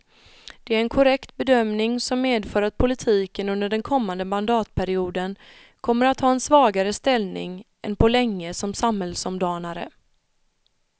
Det är en korrekt bedömning som medför att politiken under den kommande mandatperioden kommer att ha en svagare ställning än på länge som samhällsomdanare.